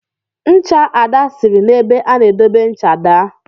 Ncha Ada siri na ebe a n'edobe ncha daa.